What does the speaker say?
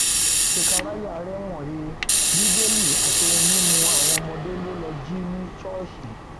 sekaráyà rẹwọn he bíbélì àti ohun mímú àwọn ọmọdé lọ lọọ jí ní ṣọọṣì